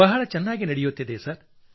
ಬಹಳ ಚೆನ್ನಾಗಿ ನಡೆಯುತ್ತಿದೆ ಸರ್